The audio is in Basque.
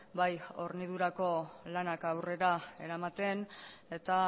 bai hornidurako lanak aurrera eramaten eta